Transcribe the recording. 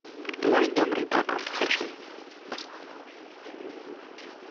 мой добрый папа хочу